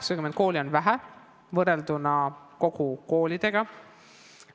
80 kooli on vähe, kui võrrelda koolide koguarvuga.